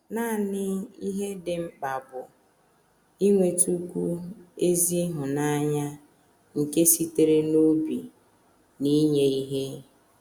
Nanị ihe dị mkpa bụ inwetụkwu ezi ịhụnanya nke sitere n’obi na inye ihe.